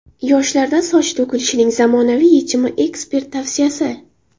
Yoshlarda soch to‘kilishining zamonaviy yechimi ekspert tavsiyasi.